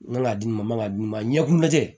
N man ka di ma n man kan ka di n ma ɲɛkun tɛ